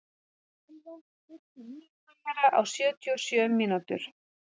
Sölva, stilltu niðurteljara á sjötíu og sjö mínútur.